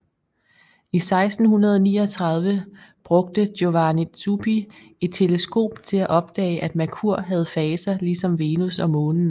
I 1639 brugte Giovanni Zupi et teleskop til at opdage at Merkur havde faser ligesom Venus og Månen